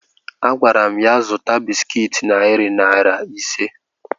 Agwara m ya zụta bịsịkịt narị naira ise